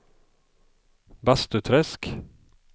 Bastuträsk